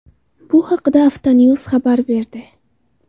Bu haqda Autonews xabar berdi .